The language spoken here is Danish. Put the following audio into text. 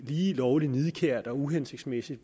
lige lovlig nidkært og uhensigtsmæssigt